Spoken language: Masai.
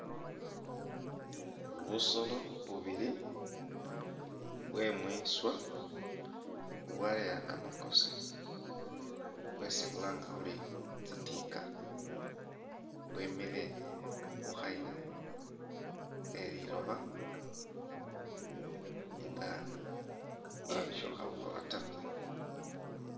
Busoolo bubili bwemwiswa, bubwaleya kamakosi bwesi khulanga khuri tsitiika bwemile khukhayila kheliloba nga mbawo nisho khabukhola taa